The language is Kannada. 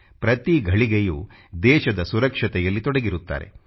ಪ್ರತಿ ಘಳಿಗೆಯೂ ದೇಶದ ಸುರಕ್ಷತೆಯಲ್ಲಿ ತೊಡಗಿರುತ್ತಾರೆ